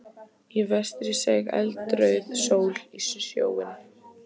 Í vestri seig eldrauð sól í sjóinn.